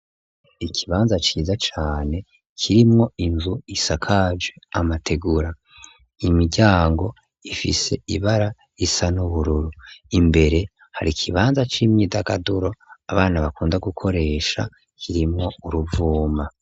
Ikibanza ciza cane kirimwo inzu isakaje amategura, imiryango ifise ibara isa n'ubururu, imbere hari kibanza c'imyidagaduro abana bakunda gukoresha kirimwo uruvuma.